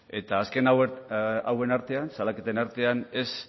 eta azken hauen artean salaketen artean ez